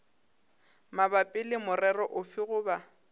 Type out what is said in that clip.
mabapi le morero ofe goba